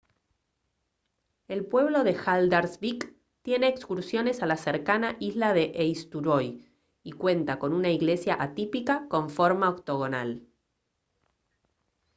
el pueblo de haldarsvík tiene excursiones a la cercana isla de eysturoy y cuenta con una iglesia atípica con forma octogonal